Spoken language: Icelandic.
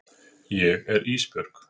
Ég er Ísbjörg.